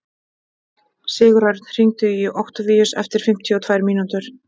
Sigurörn, hringdu í Októvíus eftir fimmtíu og tvær mínútur.